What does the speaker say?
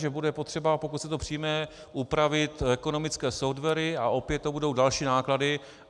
Že bude potřeba, pokud se to přijme, upravit ekonomické softwary, a opět to budou další náklady.